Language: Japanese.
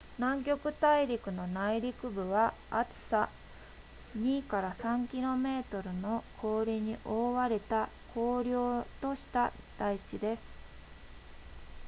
南極大陸の内陸部は厚さ 2～3 km の氷に覆われた荒涼とした台地です